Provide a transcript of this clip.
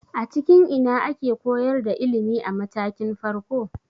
A cikin ina ake koyar da ilimi a matakin farko?